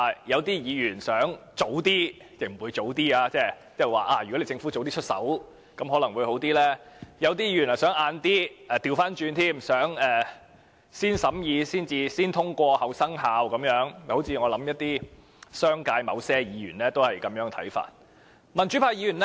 有些議員希望能提早生效，認為如果政府能早些實施，可能會更好；有些議員則想延遲，反過來想先審議、後生效，我想商界某些議員也有這樣的看法。